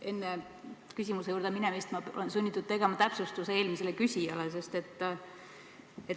Enne küsimuste juurde minemist olen ma sunnitud täpsustama eelmist küsijat.